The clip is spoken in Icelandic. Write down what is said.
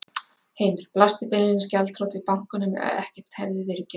Heimir: Blasti beinlínis gjaldþrot við bankanum ef ekkert hefði verið gert?